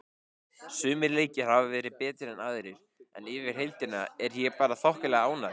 Sumir leikir hafa verið betri en aðrir en yfir heildina er ég bara þokkalega ánægð.